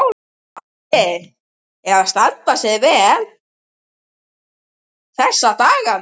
Óli er að standa sig svo vel þessa dagana.